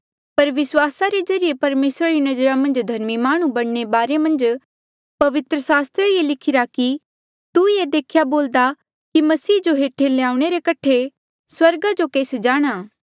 पर विस्वासा रे ज्रीए परमेसरा रे नजरा मन्झ धर्मी माह्णुं बणने रे बारे मन्झ पवित्र सास्त्रा ये लिखिरा कि तू ये देख्या बोलदा कि मसीहा जो हेठ ल्याऊणे रे कठे स्वर्गा जो केस जाणा